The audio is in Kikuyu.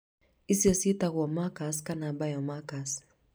ici ciĩtagwo markers kana biomarkers.